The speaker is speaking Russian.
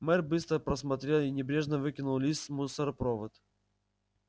мэр быстро просмотрел и небрежно выкинул лист в мусоропровод